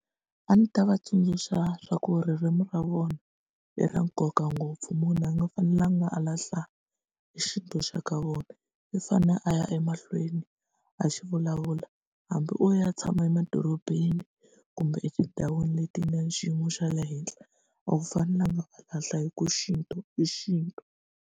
A ni ta va tsundzuxa swa ku ririmi ra vona i ra nkoka ngopfu munhu a nga fanelanga a lahla xintu xa ka vona i fane a ya emahlweni a xi vulavula hambi o ya tshama emadorobeni kumbe etindhawini leti nga xiyimo xa le henhla a wu fanelanga a lahla hi ku xintu i xintu.